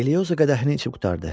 Elioza qədəhin içib qurtardı.